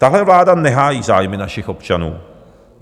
Tahle vláda nehájí zájmy našich občanů.